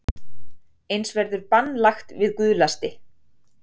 Eins verður bann lagt við guðlasti